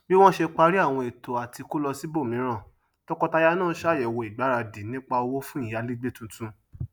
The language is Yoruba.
bí wọn sé parí àwọn ètò àtí kó lọ sibomiran tọkọtaya náà ṣàyẹwò ìgbáradì nípá owó fún ìyálegbé tuntun